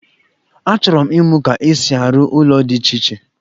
Achọrọ m imụ ka esi a ru ụlọ di iche iche